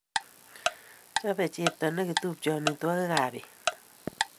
Chobe chepto nekitupche amitwogik ab pet